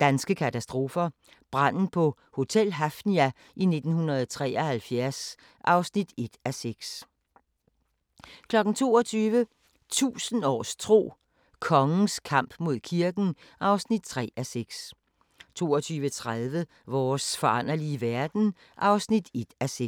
Danske katastrofer – Branden på Hotel Hafnia 1973 (1:6) 22:00: 1000 års tro: Kongens kamp mod kirken (3:6) 22:30: Vores foranderlige verden (1:6)